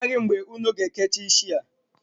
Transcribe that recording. Mba, amaghi m mgbe unu ga-ekecha isi a.